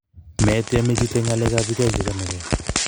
metiem I chute nyalek ab pik aeng che chamegei